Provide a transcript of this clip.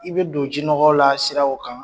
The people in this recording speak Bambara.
I bɛ don jinɔgɔ la siraw kan,